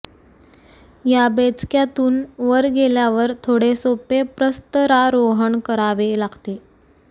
या बेचक्यातून वर गेल्यावर थोडे सोपे प्रस्तरारोहण करावे लागते